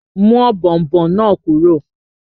Mú ọ̀bọ̀ọ̀nbọọ̀n náà kúrò!